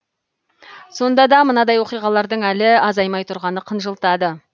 сонда да мынадай оқиғалардың әлі азаймай тұрғаны қынжылтады